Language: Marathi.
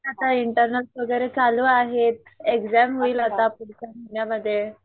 आता इंटरनेट वगैरे चालूं आहेंत एक्झाम होईल पुढच्या महिन्यामध्ये